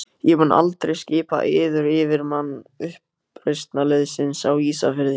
Ég mun aldrei skipa yður yfirmann uppreisnarliðsins á Ísafirði.